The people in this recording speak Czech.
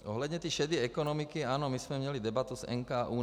Ohledně té šedé ekonomiky - ano, my jsme měli debatu s NKÚ.